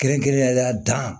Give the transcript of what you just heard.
Kɛrɛnkɛrɛnnenya la dan